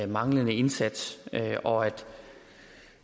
manglende indsats